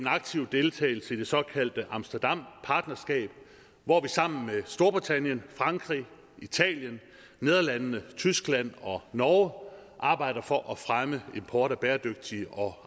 aktiv deltagelse i det såkaldte amsterdampartnerskab hvor vi sammen med storbritannien frankrig italien nederlandene tyskland og norge arbejder for at fremme import af bæredygtige og